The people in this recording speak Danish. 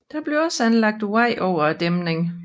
Der blev også anlagt vej over dæmningen